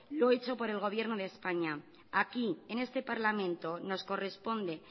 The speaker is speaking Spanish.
lo hecho por el gobierno de españa aquí en este parlamento nos corresponde